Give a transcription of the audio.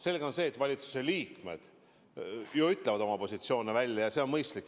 Samas on selge, et valitsuse liikmed ütlevad oma positsioone välja, ja see on mõistlik.